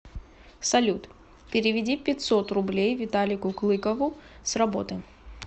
салют переведи пятьсот рублей виталику клыкову с работы